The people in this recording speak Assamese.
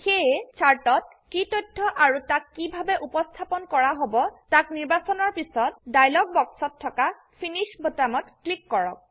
সেয়ে চাৰ্ট ত কি তথ্য আৰু তাক কিভাবে উপস্থাপন কৰা হব তাক নিৰ্বাচনৰ পিছত ডায়লগ বক্সত থকা ফিনিশ বোতামত ক্লিক কৰক